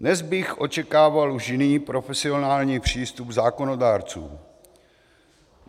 Dnes bych očekával už jiný profesionální přístup zákonodárců.